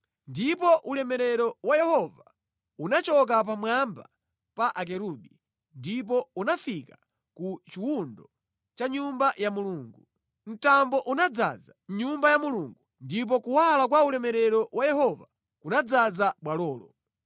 Ndipo ulemerero wa Yehova unachoka pamwamba pa akerubi ndipo unafika ku chiwundo cha Nyumba ya Mulungu. Mtambo unadzaza Nyumba ya Mulungu, ndipo kuwala kwa ulemerero wa Yehova kunadzaza bwalolo.